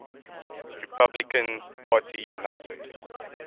republican party united